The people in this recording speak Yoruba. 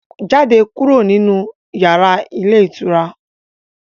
Jáde kúrò nínu yàrá ilé ìtura